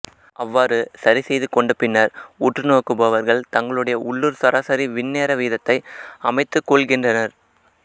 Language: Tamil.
அவ்வாறு சரி செய்து கொண்ட பின்னர் உற்றுநோக்குபவர்கள் தங்களுடைய உள்ளூர் சராசரி விண் நேர வீதத்தை அமைத்துக் கொள்கின்றனர்